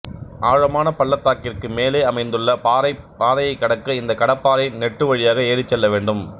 ஆழமான பள்ளத்தாக்கிற்கு மேலே அமைந்துள்ள பாறைப் பாதையைக் கடக்க இந்த கடப்பாறை நெட்டு வழியாக ஏறிச் செல்லவேண்டும்